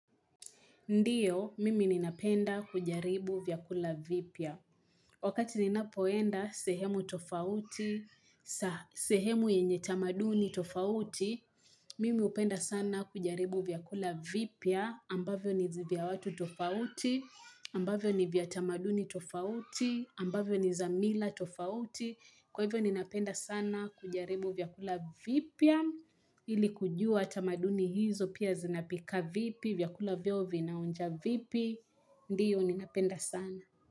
Ndiyo, mimi ninapenda kujaribu vyakula vipia. Wakati ninapoenda sehemu tofauti, sehemu yenye tamaduni tofauti, mimi upenda sana kujaribu vyakula vipia, ambavyo ni zivyawatu tofauti, ambavyo ni vyatamaduni tofauti, ambavyo ni zamila tofauti. Kwa hivyo ninapenda sana kujaribu vyakula vipia, Ili kujua atamaduni hizo pia zinapika vipi vyakula vyo vinaonja vipi Ndiyo ni napenda sana.